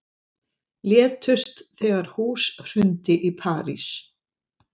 Létust þegar hús hrundi í París